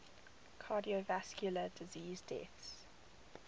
cardiovascular disease deaths